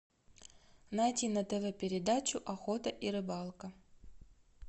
найди на тв передачу охота и рыбалка